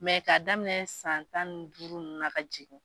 ka daminɛ san tan ni duuru nunnu na ka jigin.